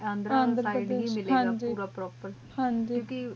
ਹੀ ਮਿਲ ਗਾ ਪ੍ਰੋਪੇਰ ਹਨ ਜੀ ਕਿਉਂ ਕ